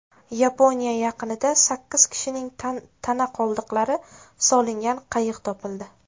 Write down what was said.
Yaponiya yaqinida sakkiz kishining tana qoldiqlari solingan qayiq topildi.